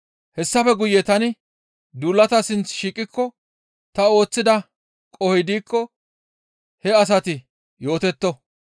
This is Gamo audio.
Hessafe guye tani duulataa sinth shiiqikko ta ooththida qohoy diikko he asati yootetto.